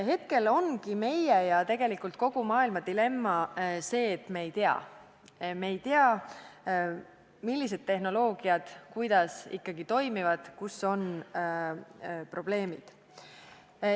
Hetkel ongi meie ja tegelikult kogu maailma dilemma see, et me ei tea – me ei tea, millised tehnoloogiad kuidas ikkagi toimivad, kus on probleemid.